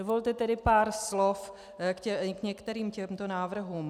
Dovolte tedy pár slov k některým těmto návrhům.